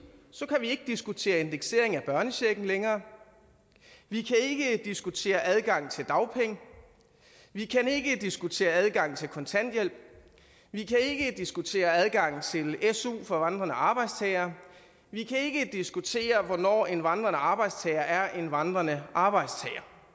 så kan vi ikke diskutere indeksering af børnechecken længere vi kan ikke diskutere adgang til dagpenge vi kan ikke diskutere adgang til kontanthjælp vi kan ikke diskutere adgang til su for vandrende arbejdstagere vi kan ikke diskutere hvornår en vandrende arbejdstager er en vandrende arbejdstager